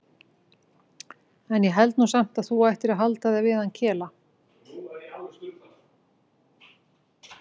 En ég held nú samt að þú ættir að halda þig við hann Kela.